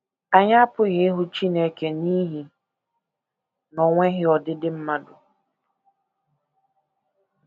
Anyị apụghị ịhụ Chineke n’ihi na o nweghị ọdịdị mmadụ.